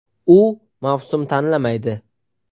U mavsum tanlamaydi.